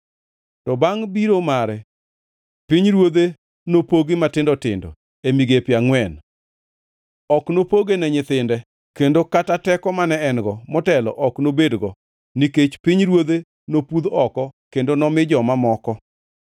To bangʼ biro mare, pinyruodhe nopogi matindo tindo, e migepe angʼwen. Ok nopoge ne nyithinde, kendo kata teko mane en-go motelo ok nobedgo, nikech pinyruodhe nopudh oko kendo nomi joma moko.